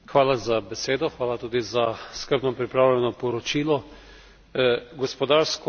Gospodarsko sodelovanje držav, ki se približujejo Evropi, je nujno potrebno.